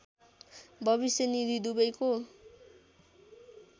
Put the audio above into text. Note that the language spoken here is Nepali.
भविष्य निधि दुबैको